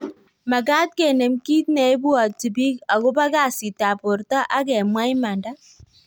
Magat kenem kit neibwati bik akobo kasit ab borto agemwa imanda